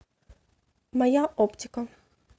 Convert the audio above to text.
моя оптика